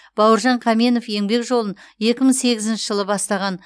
бауыржан қаменов еңбек жолын екі мың сегізінші жылы бастаған